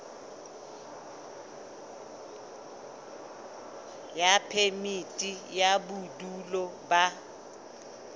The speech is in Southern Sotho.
ya phemiti ya bodulo ba